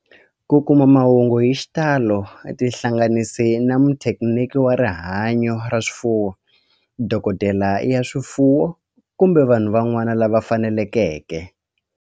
Ku kuma mahungu hi xitalo tihlanganisi na muthekiniki wa rihanyo ra swifuwo, dokodela ya swifuwo, kumbe vanhu van'wana lava fanelekeke.